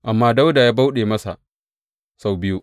Amma Dawuda ya bauɗe masa sau biyu.